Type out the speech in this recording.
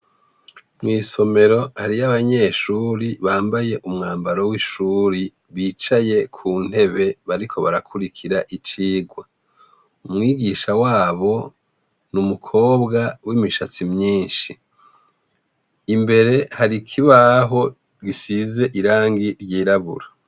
Mw’isomero hariy’abanyeshure bambaye umwambaro w’ishuri bicaye kuntebe bariko barakurikira icigwa. Umwigisha wabo n’umukobwa w’imishatsi myinshi. Imbere har’ikibaho gisize irangi ryirabura.